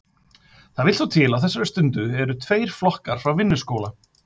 Það vill svo til að á þessari stundu eru tveir flokkar frá Vinnuskóla